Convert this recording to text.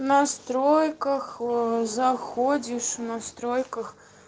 в настройках заходишь в настройках